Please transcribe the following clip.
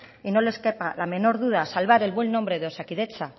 y nos le quepa la menor duda salvar el buen nombre de osakidetza